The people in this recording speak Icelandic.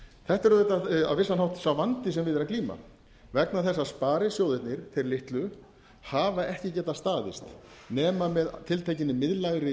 þetta er auðvitað á vissan hátt sá vandi sem við er að glíma vegna þess að sparisjóðirnir þeir litlu hafa ekki getað staðist nema með tiltekinni miðlægri